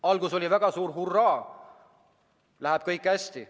Alguses oli väga suur hurraa, läheb kõik hästi.